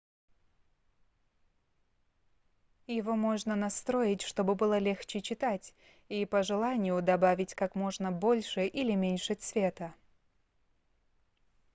его можно настроить чтобы было легче читать и по желанию добавить как можно больше или меньше цвета